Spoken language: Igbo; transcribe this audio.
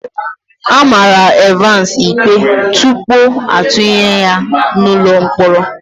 A mara Evans ikpe tupu atụnye ya n'ụlọ mkpọrọ.